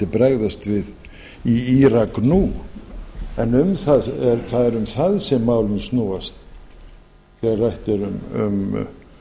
bregðast við í írak nú en það er um það sem málin snúast þegar rætt er um